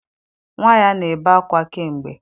Nnwa ya na-ebe ákwá kamgbe